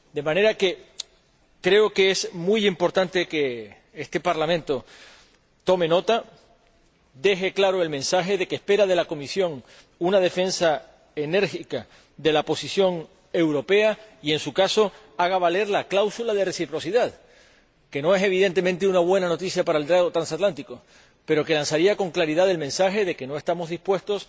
De manera que creo que es muy importante que este Parlamento deje claro el mensaje de que espera de la Comisión que defienda enérgicamente la posición europea y que, en su caso, haga valer la cláusula de reciprocidad, que no es, evidentemente, una buena noticia para el diálogo transatlántico pero que lanzaría con claridad el mensaje de que no estamos dispuestos